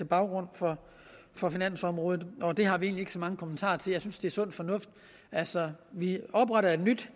baggrund for for finansområdet og det har vi egentlig ikke så mange kommentarer til jeg synes det er sund fornuft altså vi opretter et nyt